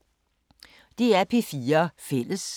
DR P4 Fælles